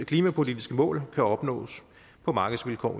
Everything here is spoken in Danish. klimapolitiske mål kan opnås på markedsvilkår